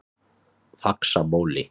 Faxabóli